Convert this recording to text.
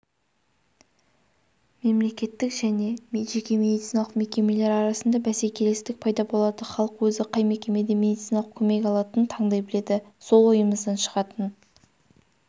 мемлекеттік және жеке медициналық мекемелер арасында бәсекелестік пайда болады халық өзі қай мекемеде медициналық көмек алатынын таңдай біледі сол ойымыздан шығатын